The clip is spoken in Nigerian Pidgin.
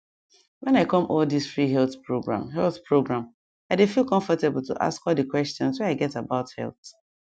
when i come all this free health program health program i dey feel comfortable to ask all the questions wey i get about health